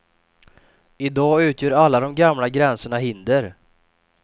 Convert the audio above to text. I dag utgör alla de gamla gränserna hinder.